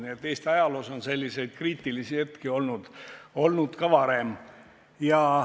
Nii et Eesti ajaloos on selliseid kriitilisi hetki olnud ka varem.